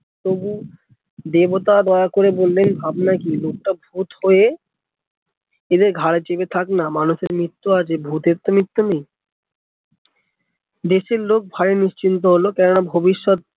তবু দেবতা দোয়া করে বললেন ভবন কি লোকটা ভুত হয়ে এদের ঘরে চেপে থাক না, মানুষের মৃত্যু আছে ভুতের তো মৃত্যু নেই দেশের লোক ভয়ে নিশ্চিন্ত হলো কেন না ভবিষ্যৎ